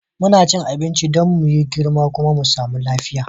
Muna cin abinci Dan muyi yi girma kuma mu samu lafiya.